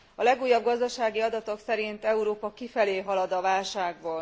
A legújabb gazdasági adatok szerint Európa kifelé halad a válságból.